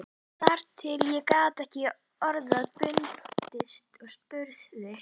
Þar til ég gat ekki orða bundist og spurði